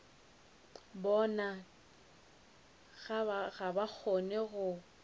bona ga ba kgone go